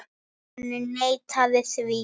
Hann neitaði því.